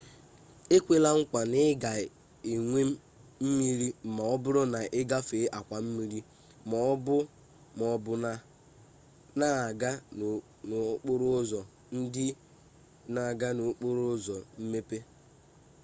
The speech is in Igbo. ekwela nkwa na ị ga-enwe mmiri ma ọ bụrụ na ị gafee akwa mmiri ma ọ bụ na-aga n'okporo ụzọ ndị na-aga n'okporo ụzọ mmepe